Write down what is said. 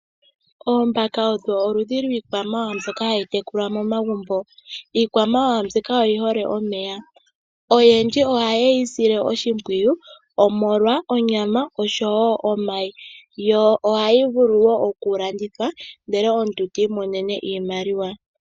Oombaka odho oludhi lwiikwamawawa mbyoka hayi tekulwa momagumbo, iikwamawawa mbika oyi hole omeya, oyendji ohaye yi sile oshimpwiyu omolwa onyama oshowo omayi yo ohayi vulu okulandithwa ndele omuntu ti imonene iimaliwa .